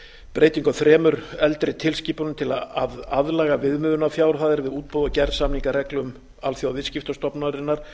breytingu á þremur eldri tilskipunum til að aðlaga viðmiðunarfjárhæðir við útboð og gerð samninga að reglum alþjóðaviðskiptastofnunarinnar